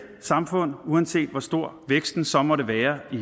samfund uanset hvor stor væksten så måtte være i